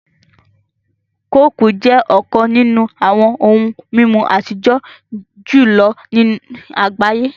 Kooku jẹ́ ọ̀kàn nínú awọn ohun mimú atijọ̀ julọ̀ ní agbáyé